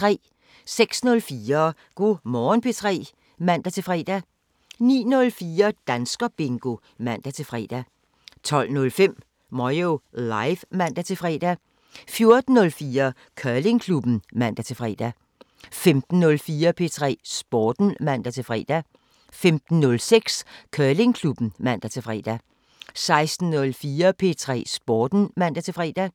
06:04: Go' Morgen P3 (man-fre) 09:04: Danskerbingo (man-fre) 12:05: Moyo Live (man-fre) 14:04: Curlingklubben (man-fre) 15:04: P3 Sporten (man-fre) 15:06: Curlingklubben (man-fre) 16:04: P3 Sporten (man-fre)